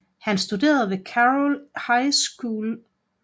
Han studerede ved Carol I High School